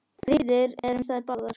Friður er um þær báðar.